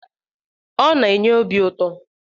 Ọ na-enye obi ụtọ.